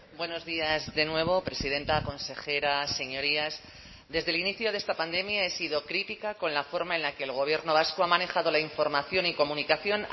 buenos días de nuevo presidenta consejera señorías desde el inicio de esta pandemia he sido crítica con la forma en la que el gobierno vasco ha manejado la información y comunicación